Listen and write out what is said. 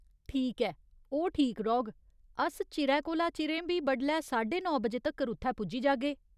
ठीक ऐ, ओह् ठीक रौह्ग, अस चिरै कोला चिरें बी बडलै साड्डे नौ बजे तक्कर उत्थै पुज्जी जागे।